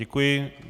Děkuji.